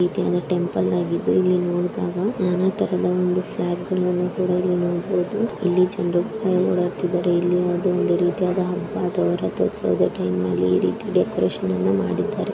ಇದೇನ ಟೆಂಪಲ್ ಆಗಿದ್ದು ಇಲ್ಲಿ ನೋಡ್ದಾಗ ನಾನಾಥರದ ಒಂದು ಫ್ಲಾಗ್ಗ ಳನ್ನೂ ಕೂಡ ಇಲ್ಲಿ ನೋಡಬಹುದು ಇಲ್ಲಿ ಜನ್ರು ಒದ್ದಾಡ್ತಿದಾರೆಇಲ್ಲಿ ಯಾವ್ದೋ ಒಂದು ರೀತಿಯ ಹಬ್ಬಯಾವ್ದೋ ರಥೋತ್ಸವದ ಟೈಮ್ನಲ್ಲಿ ಈ ರೀತಿಯ ಈ ರೀತಿಯ ಡೆಕೋರೇಷನ್ ಅನ್ನ ಮಾಡಿದ್ದಾರೆ.